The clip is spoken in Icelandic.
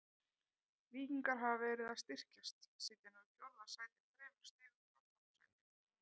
Víkingar hafa verið að styrkjast, sitja nú í fjórða sæti þremur stigum frá toppsætinu.